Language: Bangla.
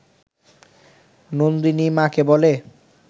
নন্দিনী মাকে বলে